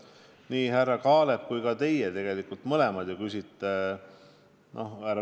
Härra Kaalep ja teie mõlemad ju küsisite rööbastranspordi kohta.